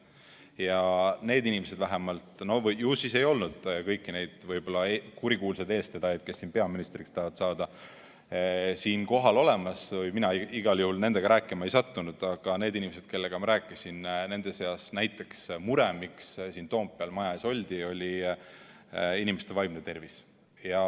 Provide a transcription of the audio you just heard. Ja need inimesed, kellega ma rääkisin – no ju siis ei olnud kõiki neid kurikuulsaid eestvedajaid, kes peaministriks tahavad saada, siin kohal, mina igal juhul nendega rääkima ei sattunud –, nende mure, miks siin Toompeal maja ees oldi, oli inimeste vaimne tervis.